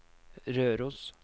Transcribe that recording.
Røros